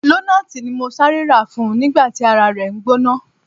Lonaati ni mo sare ra fun nigba ti ara re n gbona.